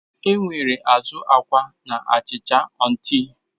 Enwere azu akwa na achịcha onti.